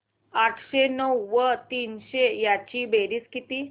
आठशे नऊ व तीनशे यांची बेरीज किती